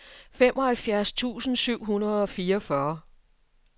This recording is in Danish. femoghalvfjerds tusind syv hundrede og fireogfyrre